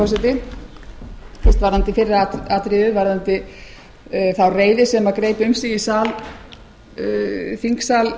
fyrst varðandi fyrra atriðið varðandi þá reiði sem greip um sig í þingsal